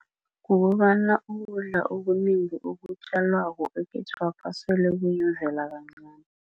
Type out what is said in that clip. Kukobana ukudla okunengi okutjalwako ekhethwapha solo kuyimvela kancani.